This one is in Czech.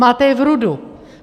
Máte je v RUD.